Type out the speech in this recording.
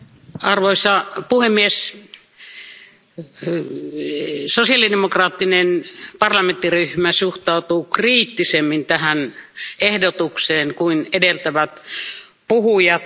Arvoisa puhemies, sosiaalidemokraattinen parlamenttiryhmä suhtautuu kriittisemmin tähän ehdotukseen kuin edeltävät puhujat.